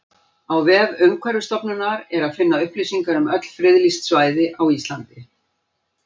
Á vef Umhverfisstofnunar er að finna upplýsingar um öll friðlýst svæði á Íslandi.